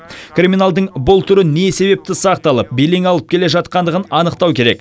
криминалдың бұл түрі не себепті сақталып белең алып келе жатқандығын анықтау керек